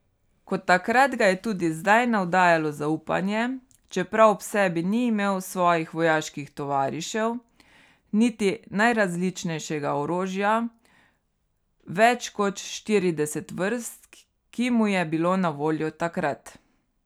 Kot takrat ga je tudi zdaj navdajalo zaupanje, čeprav ob sebi ni imel svojih vojaških tovarišev, niti najrazličnejšega orožja, več kot štirideset vrst, ki mu je bilo na voljo takrat.